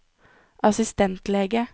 assistentlege